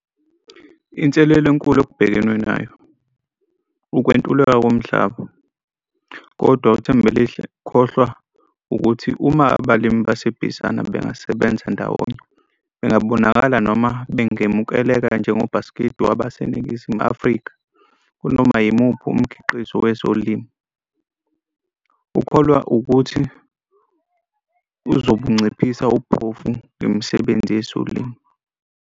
Inselelo enkulu okubhekenwe nayo, ukuntuleka komhlaba, kodwa uThembelihle ukholwa ukuthi uma abalimi baseBizana bengasebenza ndawonye bengabonakala noma bengamukeleka njengobhaskidi wabaseNingizimu Afrika kunoma yimuphi umkhiqizo wezilimo. Ukholwa ukuthi uzobunciphisa ubuphofu ngemisebenzi yezolimo.